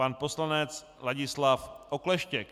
Pan poslanec Ladislav Okleštěk.